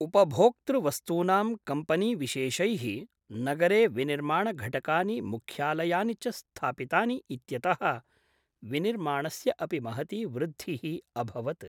उपभोक्तृवस्तूनाम् कम्पनीविशेषैः नगरे विनिर्माणघटकानि मुख्यालयानि च स्थापितानि इत्यतः विनिर्माणस्य अपि महती वृद्धिः अभवत्।